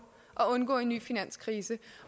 at undgå en ny finanskrise